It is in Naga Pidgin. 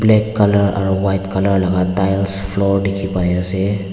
black colour aro white colour laka tiles floor dikhipaiase.